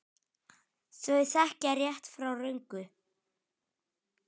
Þau þekkja rétt frá röngu.